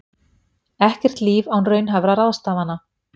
Ekkert líf án raunhæfra ráðstafana